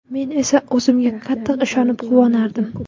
Men esa o‘zimga qattiq ishonib, quvonardim.